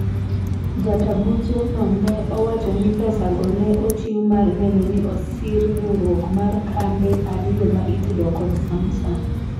jata buche no ne owacho ni pesago ne ochiw mar neno ni osir riwruok mar kambe ariyo ma itudo kod Samsung